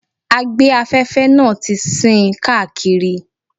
Agbe-afẹ́fẹ́ náà ti sín káàkiri.